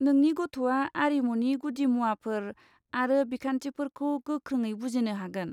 नोंनि गथ'आ आरिमुनि गुदिमुवाफोर आरो बिखान्थिफोरखौ गोख्रोङै बुजिनो हागोन।